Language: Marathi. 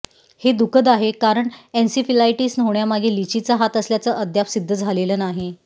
हे दुःखद आहे कारण एन्सिफिलायटिस होण्यामागे लिचीचा हात असल्याचं अद्याप सिद्ध झालेलं नाही